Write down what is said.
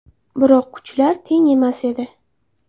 Biroq kuchlar teng emas edi.